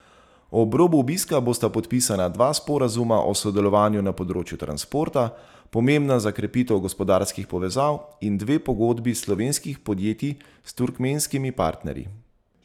Ob robu obiska bosta podpisana dva sporazuma o sodelovanju na področju transporta, pomembna za krepitev gospodarskih povezav, in dve pogodbi slovenskih podjetij s turkmenskimi partnerji.